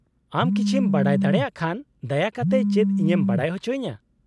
-ᱟᱢ ᱠᱤᱪᱷᱤᱢ ᱵᱟᱰᱟᱭ ᱫᱟᱲᱮᱭᱟᱜ ᱠᱷᱟᱱ ᱫᱟᱭᱟ ᱠᱟᱛᱮ ᱪᱮᱫ ᱤᱧᱮᱢ ᱵᱟᱰᱟᱭ ᱚᱪᱚᱧᱟ ?